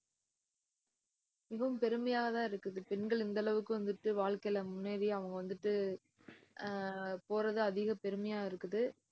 மிகவும் பெருமையா தான் இருக்குது. பெண்கள் இந்த அளவுக்கு வந்துட்டு வாழ்க்கையில முன்னேறி அவங்க வந்துட்டு அஹ் போறது அதிக பெருமையா இருக்குது